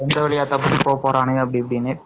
எந்த வழியா போகப்போறாங்க அப்டி, இப்டினு